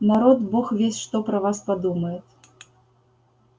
народ бог весть что про вас подумает